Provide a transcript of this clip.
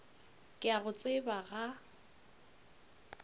ke a go tseba ga